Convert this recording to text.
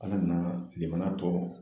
Ala nana limaniya tɔ